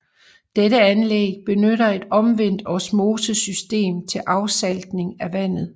Dette anlæg benytter et omvendt osmosesystem til afsaltning af vandet